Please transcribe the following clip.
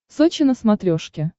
сочи на смотрешке